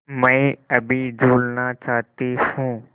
मैं अभी झूलना चाहती हूँ